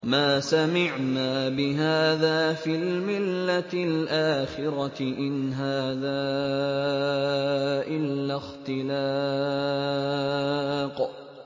مَا سَمِعْنَا بِهَٰذَا فِي الْمِلَّةِ الْآخِرَةِ إِنْ هَٰذَا إِلَّا اخْتِلَاقٌ